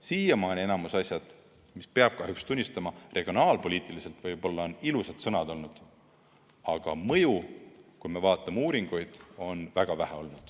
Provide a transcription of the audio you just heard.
Siiamaani on enamiku asjade puhul, peab kahjuks tunnistama, regionaalpoliitiliselt võib-olla ilusad sõnad olnud, aga mõju, kui me vaatame uuringuid, on olnud väga vähe.